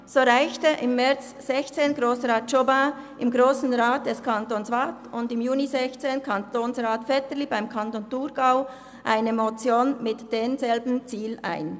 So reichten im März 2016 Grossrat Jobin im Grossen Rat des Kantons Waadt und im Juni 2016 Kantonsrat Vetterli im Kanton Thurgau eine Motion mit demselben Ziel ein.